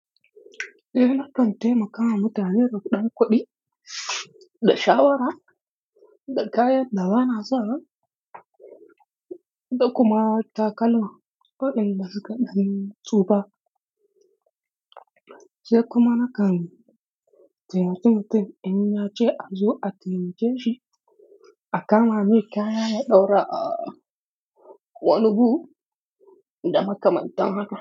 Eh, na kan taimakawa mutane rugudankuɗi da shawara da kayan da bana so, da kuma takalman ko da suka ɗan tsufa. Sai kuma nakan taimaki mutum in ya ce a zo a taimake shi a kama mai kaya ya ɗaura a wani hook da makamantan haka.